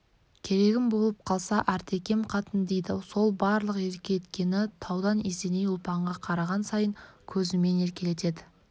керегім болып қалса артекем қатын дейді сол барлық еркелеткені таудан есеней ұлпанға қараған сайын көзімен еркелетеді